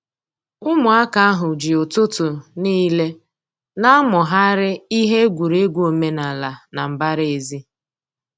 Ụmụaka ahụ ji ụtụtụ n'ile na-amụgharị ihe egwuregwu omenala na mbara ezi